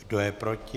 Kdo je proti?